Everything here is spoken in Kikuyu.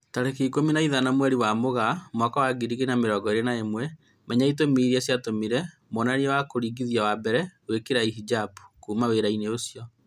Tarĩki ikũmi na ithano mweri wa Mũgaa mwaka wa ngiri igĩri na mĩrongo ĩri na ĩmwe, Menya itũmi irĩa ciatũmire mwonania wa kugathĩrĩria wa mbere gwĩkira hijab "kuma wĩra-inĩ ucio"